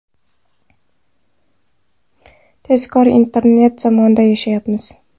Tezkor internet zamonida yashayapmiz.